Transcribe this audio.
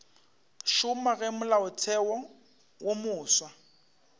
šoma ge molaotheo wo mofsa